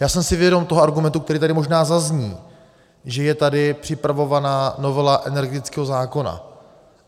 Já jsem si vědom toho argumentu, který tady možná zazní, že je tady připravovaná novela energetického zákona.